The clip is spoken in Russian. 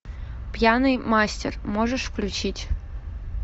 пьяный мастер можешь включить